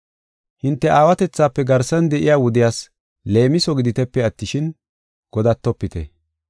Hinte aawatethafe garsan de7iya wudiyas leemiso giditepe attishin, godatopite.